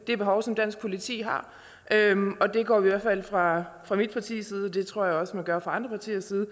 det behov som dansk politi har fra mit partis side det jeg tror jeg også man gør fra andre partiers side